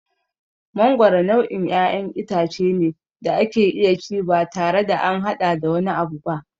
Mangoro nau'in ƴaƴan itace ne da ake iya ci batare da an haɗa da wani abu ba.